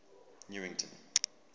newington